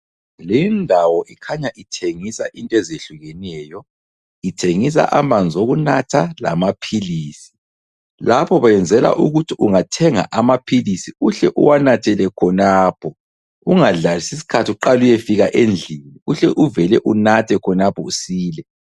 Lindawo ikhanya ithengisa into ezehlukeneyo ithengisa amanzi okunatha lamaphilisi. Lapho benzela ukuthi ungathenga amaphilisi uhle uwanathele khonapho ungadlalisi isikhathi uqale uyefika endlini uhle uvele unathe khonapho usile.